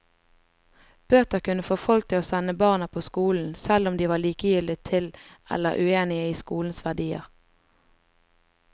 Bøter kunne få folk til å sende barna på skolen, selv om de var likegyldige til eller uenige i skolens verdier.